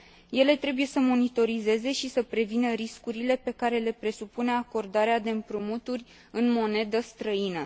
Ele trebuie să monitorizeze și să prevină riscurile pe care le presupune acordarea de împrumuturi în monedă străină.